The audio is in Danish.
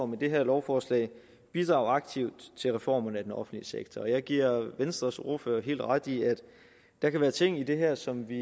med det her lovforslag bidrage aktivt til reformerne af den offentlige sektor og jeg giver venstres ordfører helt ret i at der kan være ting i det her som vi